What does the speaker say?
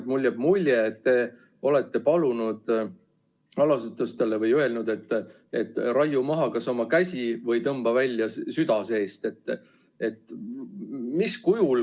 Praegu jääb mulje, et te olete allasutustele öelnud, et raiu maha oma käsi või tõmba välja oma süda.